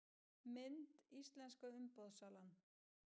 Mynd: Íslenska umboðssalan